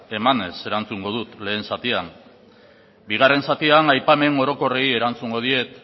emanez erantzungo dut lehen zatia bigarren zatian aipamen orokorrei erantzungo diet